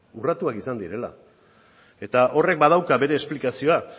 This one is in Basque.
urratuak izan direla eta horrek badauka bere esplikazioa